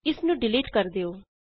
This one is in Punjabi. ਇਸ ਨੂੰ ਡਿਲੀਟ ਕਰ ਦਿਉ